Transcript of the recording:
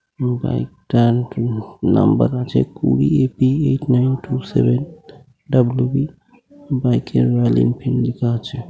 Bike number আছে কুড়ি A P[ eight nine two seven W B bike এর Royal Enfield লেখা আছে ।